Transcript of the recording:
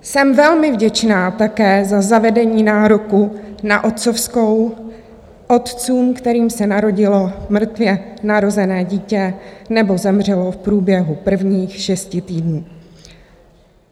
Jsem velmi vděčná také za zavedení nároku na otcovskou otcům, kterým se narodilo mrtvě narozené dítě nebo zemřelo v průběhu prvních šesti týdnů.